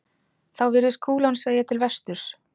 Þá virðist kúlan sveigja til vesturs.